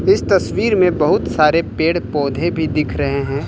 इस तस्वीर में बहुत सारे पेड़ पौधे भी दिख रहे हैं।